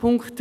Punkt 3